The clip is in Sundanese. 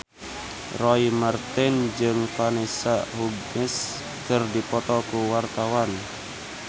Roy Marten jeung Vanessa Hudgens keur dipoto ku wartawan